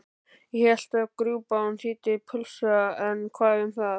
Ég hélt að grjúpán þýddi pulsa en hvað um það?